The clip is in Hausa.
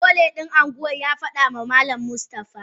Pole din anguwa yafadama malam Mustafa.